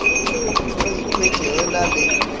re ikhwetše re na le